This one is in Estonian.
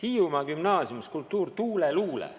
Hiiumaa gümnaasiumis skulptuur "Tuuleluule".